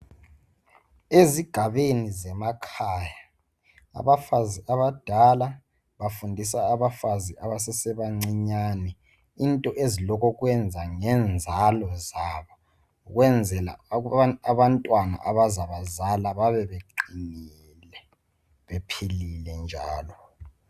Ezigabeni zemakhaya abafazi abadala bafundisa abafazi esebancinyane into ezilokokwenza ngenzalo yabo ukwenzrela ujuthi abantwana abazabazala babeqinile bephilile njalo